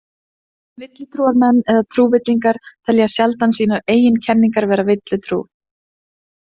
Villutrúarmenn eða trúvillingar telja sjaldan sínar eigin kenningar vera villutrú.